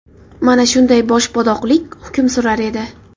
Mana shunday boshboshdoqlik hukm surar edi.